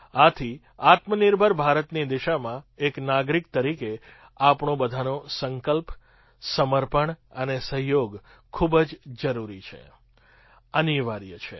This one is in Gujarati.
આથી આત્મનિર્ભર ભારતની દિશામાં એક નાગરિક તરીકે આપણો બધાનો સંકલ્પ સમર્પણ અને સહયોગ ખૂબ જ જરૂરી છે અનિવાર્ય છે